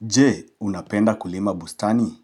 Je, unapenda kulima bustani?